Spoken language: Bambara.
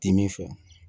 Dimin fɛ